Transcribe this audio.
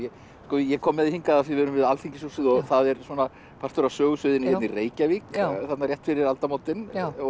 ég kom með þig hingað af því við erum við alþingishúsið og það er partur af sögusviðinu hérna í Reykjavík þarna rétt fyrir aldamótin